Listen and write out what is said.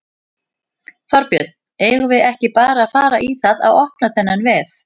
Þorbjörn: Eigum við ekki bara að fara í það að opna þennan vef?